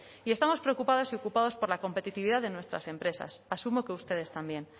y estamos preocupadas y ocupados por la competitividad de nuestras empresas asumo que ustedes también